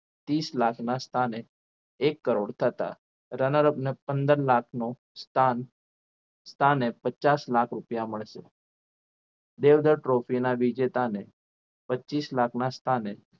ત્રીસ લાખના સ્થાને એક કરોડ થતાં runner up ને પંદર લાખનો સ્થાન સ્થાને પચાસ લાખ રૂપિયા મળશે દેવધર trophy ના વિજેતા ને પચીસ લાખના સ્થાન